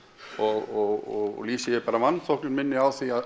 og lýsi ég bara vanþóknun minni á því að